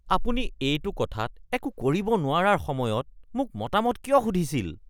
আপুনি এইটো কথাত একো কৰিব নোৱাৰাৰ সময়ত মোক মতামত কিয় সুধিছিল? (গ্ৰাহক)